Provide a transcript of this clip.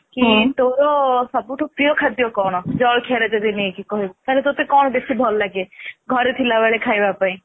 କି ତୋର ସବୁ ଠୁ ପ୍ରିୟ ଖାଦ୍ଯ କଣ ଜଳଖିଆରେ ଯଦି ନେଇକି କହିବି ତାହାଲେ ଟାଏ କଣ ବେଶି ଭଲ ଲାଗେ ଘରେ ଥିଲା ବେଳେ ଖାଇବା ପାଇଁ